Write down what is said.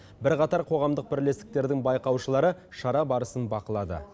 бірқатар қоғамдық бірлестіктердің байқаушылары шара барысын бақылады